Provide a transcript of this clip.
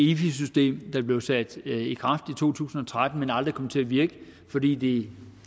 efi system der blev sat i kraft i to tusind og tretten men som aldrig kom til at virke fordi det